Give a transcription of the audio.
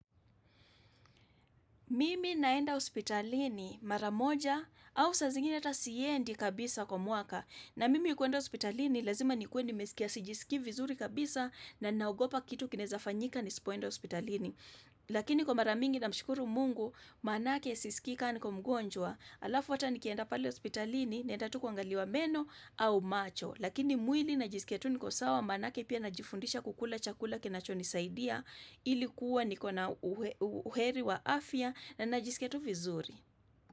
Mimi naenda hospitalini mara moja au saa zingine hata siendi kabisa kwa mwaka. Na mimi kuenda hospitalini lazima nikuwe nimesikia sijiskii vizuri kabisa na naogopa kitu kinaeza fanyika nisipoenda hospitalini. Lakini kwa mara mingi namshukuru mungu, maanake siskii ka niko mgonjwa. Alafu hata nikienda pale hospitalini naenda tu kuangaliwa meno au macho. Lakini mwili najisikia tu niko sawa maanake pia najifundisha kukula chakula kinachonisaidia. Ili kuwa niko na uheri wa afya na najiskia tu vizuri.